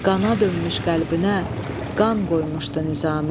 Qana dönmüş qəlbinə qan qoymuşdu Nizami.